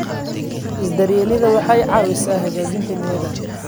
Is-daryeelidda waxay caawisaa hagaajinta niyadda.